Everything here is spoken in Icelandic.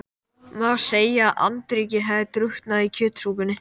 Má segja að andríkið hafi drukknað í kjötsúpunni.